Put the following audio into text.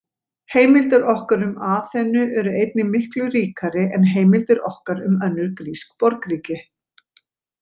Heimildir okkar um Aþenu eru einnig miklu ríkari en heimildir okkar um önnur grísk borgríki.